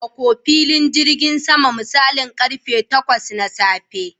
Ka yi tsammako wurin zuwa filin jirgin sama a misalin karfe takwas na safe